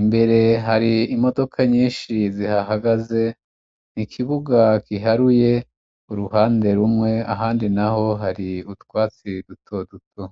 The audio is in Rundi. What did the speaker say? imbere hari imodoka nyinshi zihahagaze, ikibuga kiharuye uruhande rumwe ahandi na ho hari utwatsirire duto duto.